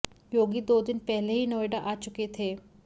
योगी दो दिन पहले ही नोएडा आ चुके थे